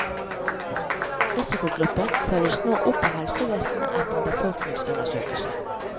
Risikogruppen følges nå opp av helsevesenet etter en befolkningsundersøkelse.